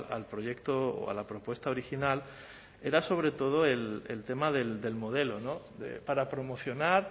al proyecto o a la propuesta original era sobre todo el tema del modelo para promocionar